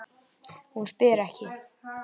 Hún spyr ekki.